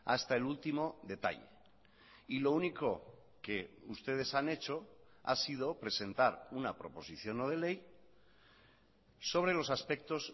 hasta el último detalle y lo único que ustedes han hecho ha sido presentar una proposición no de ley sobre los aspectos